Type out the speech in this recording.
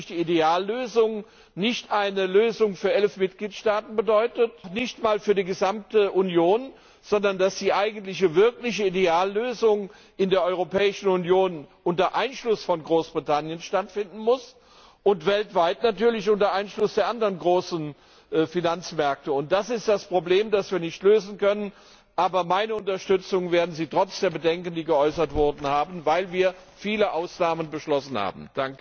Die Ideallösung ist natürlich nicht eine Lösung für elf Mitgliedstaaten, noch nicht einmal für die gesamte Union, sondern die eigentliche wirkliche Ideallösung muss in der Europäischen Union unter Einschluss von Großbritannien stattfinden und weltweit natürlich unter Einschluss der anderen großen Finanzmärkte. Das ist das Problem, das wir nicht lösen können. Aber meine Unterstützung werden Sie trotz der Bedenken, die geäußert wurden, haben, weil wir viele Ausnahmen beschlossen haben.